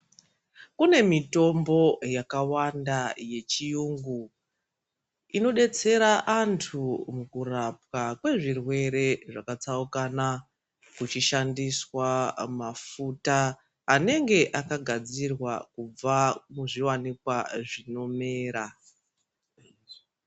Kune mitombo yakawanda yechiyungu inobetsera antu mukurapwa kwezvirwere zvakatsaukanwa. Kuchishandiswa mafuta anenge akagadzirwa kubva muzvivanikwa zvinomera.